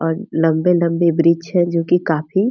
और लम्बे-लम्बे वृक्ष है जो कि काफी --